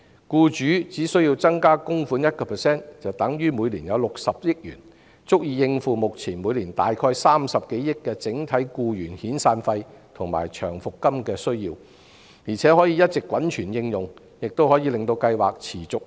僱主只須增加供款 1%， 就等於每年有60億元，足以應付目前每年大概30億元的整體僱員遣散費及長期服務金的需要，而且可以一直滾存應用，令計劃持續運作。